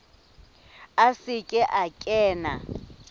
a se ke a kena